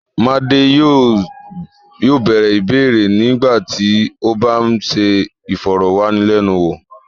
Madé yóò bẹ̀rẹ̀ ìbéèrè nígbà tí ó bá ń ṣe ìfọ̀rọ̀wánilẹ́nuwò.